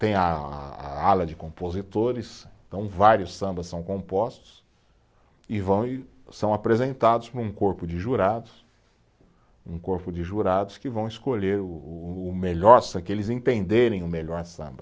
Tem a a, a ala de compositores, então vários sambas são compostos e vão, e são apresentados para um corpo de jurados, um corpo de jurados que vão escolher o o, o melhor, que eles entenderem o melhor samba.